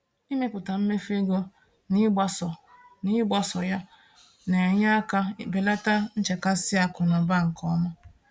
Ịmepụta mmefu ego na ịgbaso na ịgbaso ya na-enyere aka belata nchekasị akụnaụba nke ọma